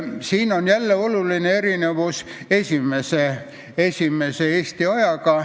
Siin on jälle oluline erinevus esimesest Eesti ajast.